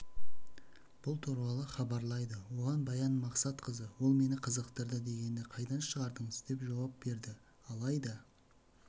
бұл туралы хабарлайды оған баян мақсатқызы ол мені қызықтырады дегенді қайдан шығардыңыз деп жауап берді алайда